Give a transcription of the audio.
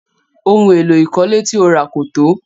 Ohun èlò ìkọ́lé ti o ra kò tó.